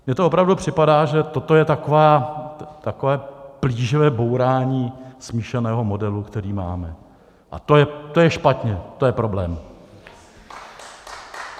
Mně to opravdu připadá, že toto je takové plíživé bourání smíšeného modelu, který máme, a to je špatně, to je problém.